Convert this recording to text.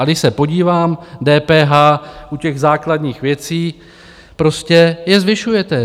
A když se podívám, DPH u těch základních věcí - prostě je zvyšujete.